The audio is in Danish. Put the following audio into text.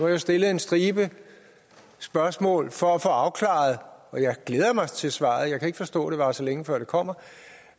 jeg stillet en stribe spørgsmål for at få det afklaret og jeg glæder mig til svaret jeg kan ikke forstå at det varer så længe før det kommer